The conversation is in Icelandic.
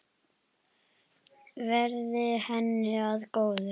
Verði henni að góðu.